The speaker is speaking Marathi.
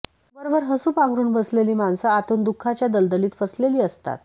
वरवर हसू पांघरून बसलेली माणसं आतून दुःखाच्या दलदलीत फसलेली असतात